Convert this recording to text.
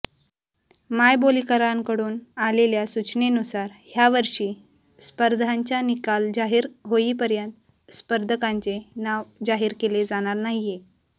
मायबोलीकरांकडून आलेल्या सूचनेनुसार ह्या वर्षी स्पर्धांच्या निकाल जाहिर होईपर्यंत स्पर्धकांचे नाव जाहिर केले जाणार नाहिये